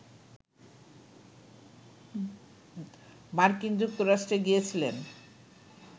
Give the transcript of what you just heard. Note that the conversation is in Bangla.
মার্কিন যুক্তরাষ্ট্রে গিয়েছিলেন